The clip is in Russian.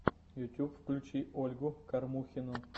ютуб включи ольгу кормухину